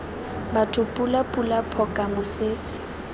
batho pula pula phoka mosese